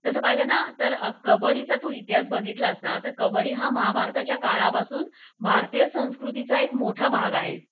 तस पाहीलना कबड्डीचा तू इतिहास बघितल्यास ना कब्बडी हा महाभारताच्या काळापासून भारतीय संस्कृतीचा एक मोठा भाग आहे